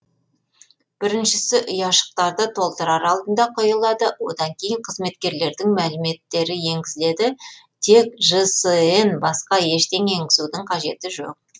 біріншісі ұяшықтарды толтырар алдында қойылады одан кейін қызметкерлердің мәліметтері енгізіледі тек жсн басқа ештеңе енгізудің қажеті жоқ